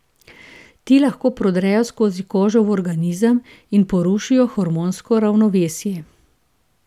Ti lahko prodrejo skozi kožo v organizem in porušijo hormonsko ravnovesje.